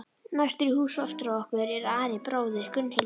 Næstur í hús á eftir okkur er Ari, bróðir Gunnhildar.